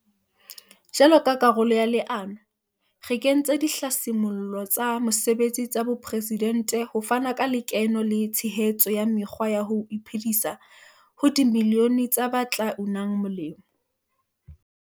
Jwalo ka karolo ya leano, re kentse Dihlasimollo tsa Mosebetsi tsa Bopresidente ho fana ka lekeno le tshehetso ya mekgwa ya ho iphe disa ho dimilione tsa ba tla unang molemo.